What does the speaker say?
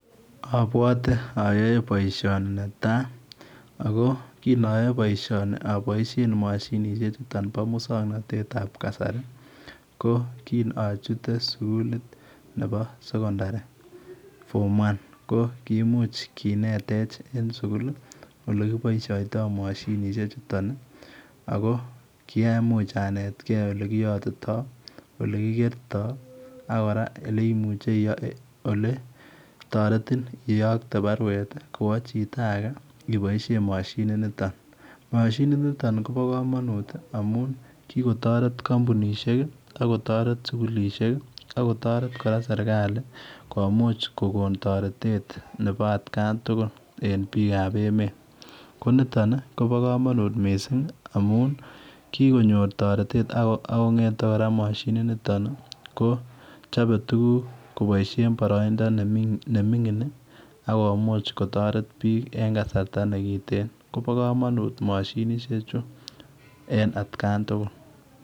Abwate ayae boisioni netai ago kiin ayae boisioni aboisheen mashinisheek chutoon bo musangnatet ab kasari ko kiin achutee suguliit nebo sekondari [form1] ko komuuch kineteech en sugul ole kibaishaitoi mashinisheek chutoon ago kiamuuch anetkei ole kiyatitoi ole kigertai ak ole imuche taretiin iyaktei boruet kowaa chitoo age ibaisheen mashiniit nitoon, mashiniit nitoon kobaa kamanuut amuun kikotaret kampunisheek ii ako taretii sugulisheek ako taret kora serikali komuuch kora komuuch kogoon taretet nebo at kan tugul en biik ab emeet, ko nitoon ii kobaa kamanuut missing amuun kikonyoor taretet ako ngethei kora mashiniit nitoon ko chape tuguuk kobaisheen baraindaa ne mingiin ii akomuuch kotaret biik en kasarta nekiteen kobaa kamanut mashinisheek chuu en kaan tugul.